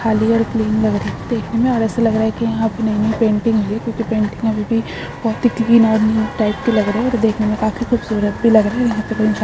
खाली और क्लीन लग रहा है। देखने में और ऐसा लग रहा है की यहाँ पे नयी नयी पेंटिंग हुई क्योकि पेंटिंग अभी भी बोहोत ही क्लीन और न्यू टाइप की लग रही और देखने में काफी खूबसूरत भी लग रही। यहाँ पे कोई इंसान --